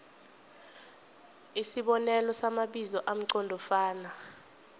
isibonelo samabizo amqondofana